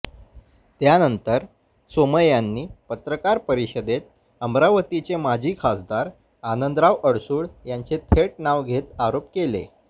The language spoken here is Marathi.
त्यानंतर सोमय्यांनी पत्रकार परिषदेत अमरावतीचे माजी खासदार आनंदराव अडसूळ यांचे थेट नाव घेत आरोप केले